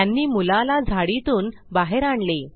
त्यांनी मुलाला झाडीतून बाहेर आणले